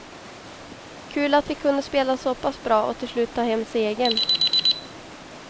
Kul att vi kunde spela så pass bra och till slut ta hem segern.